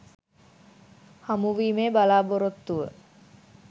හමුවීමේ බලාපොරොත්තුව